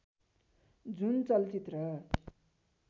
जुन चलचित्र